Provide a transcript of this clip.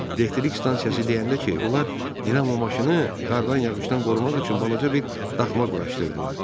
Elektrik stansiyası deyəndə ki, onlar dinamo maşını qardan, yağışdan qorumaq üçün balaca bir daxma quraşdırdılar.